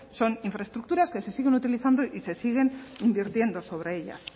son infraestructuras que se siguen utilizando y se siguen invirtiendo sobre ellas